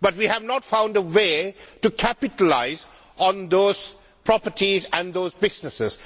However, we have not found a way to capitalise on those properties and those businesses.